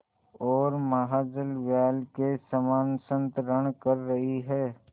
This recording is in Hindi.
ओर महाजलव्याल के समान संतरण कर रही है